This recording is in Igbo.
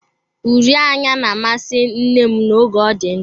Uri anya na-amasị nne m oge ọ dị ndụ.